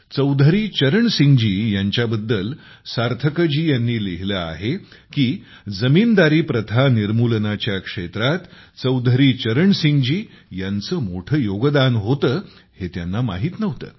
चौधरी चरणसिंग जी यांच्याबद्दल सार्थकजी यांनी लिहिले आहे की जमीनदारी प्रथा निर्मूलनाच्या क्षेत्रात चौधरी चरणसिंग जी यांचे मोठे योगदान होते हे त्यांना माहित नव्हते